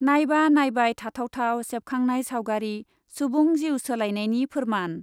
नायबा नायबाय थाथाव थाव , सेबखांनाय सावगारि सुबुं जिउ सोलायनायनि फोरमान ।